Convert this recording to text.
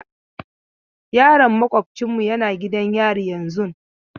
Yaron maƙwabocinmu yana gidan yari yanzun.